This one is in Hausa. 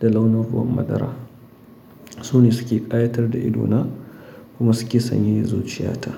da launin ruwan madara. Su ne suke ƙawatar da ido na kuma suke sanyaya zuciya ta.